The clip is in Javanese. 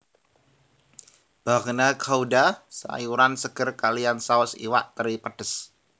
Bagna Cauda sayuran seger kaliyan saus iwak teri pedes